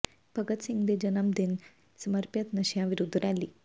ਭਗਤ ਸਿੰਘ ਦੇ ਜਨਮ ਦਿਨ ਨੂੰ ਸਮਰਪਿਤ ਨਸ਼ਿਆਂ ਵਿਰੁੱਧ ਰੈਲੀ